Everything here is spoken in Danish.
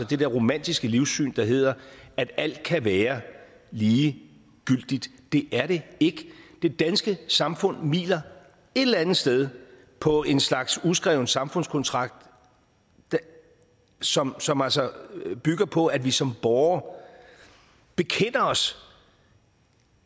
det der romantiske livssyn der hedder at alt kan være lige gyldigt det er det ikke det danske samfund hviler et eller andet sted på en slags uskreven samfundskontrakt som som altså bygger på at vi som borgere bekender os